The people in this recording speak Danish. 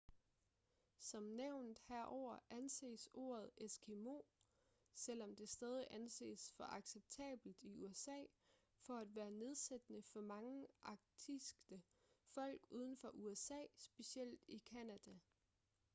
som nævnt herover anses ordet eskimo selvom det stadig anses for acceptabelt i usa for at være nedsættende for mange arktiske folk uden for usa specielt i canada